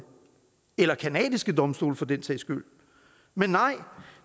eller canadiske domstole for den sags skyld men nej